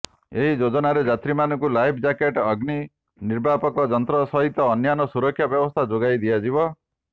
ଏହି ଯୋଜନାରେ ଯାତ୍ରୀମାନଙ୍କୁ ଲାଇଫ୍ ଜ୍ୟାକେଟ୍ ଅଗ୍ନି ନିର୍ବାପକ ଯନ୍ତ୍ର ସହିତ ଅନ୍ୟାନ୍ୟ ସୁରକ୍ଷା ବ୍ୟବସ୍ଥା ଯୋଗାଇ ଦିଆଯିବ